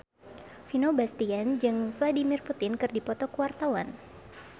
Vino Bastian jeung Vladimir Putin keur dipoto ku wartawan